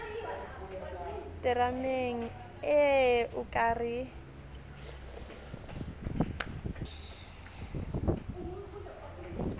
terameng ee o ka re